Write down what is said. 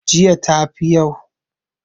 jiya ta fi yau?